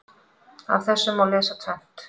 Af þessu má lesa tvennt.